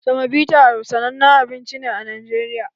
Semobita sanannen abinci ne a Najeriya